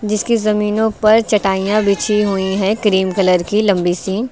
जिसकी जमीनों पर चटाइयां बिछी हुई हैं क्रीम कलर की लंबी सी।